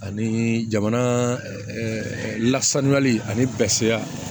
Ani jamana ɛɛ lasanyali ani